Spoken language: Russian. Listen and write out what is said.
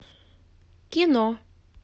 кино